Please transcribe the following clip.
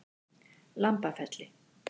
Lambafelli